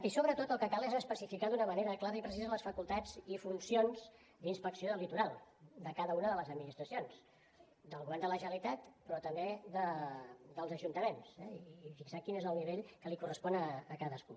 i sobretot el que cal és especificar d’una manera clara i precisa les facultats i funcions d’inspecció del litoral de cada una de les administracions del govern de la generalitat però també dels ajuntaments i fixar quin és el nivell que li correspon a cadascú